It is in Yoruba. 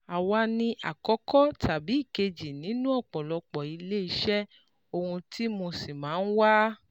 Àwa ni àkọ́kọ́ tàbí ìkejì nínú ọ̀pọ̀lọpọ̀ ilé iṣẹ́, ohun tí mo sì máa ń wá